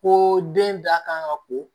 Ko den da kan ka ko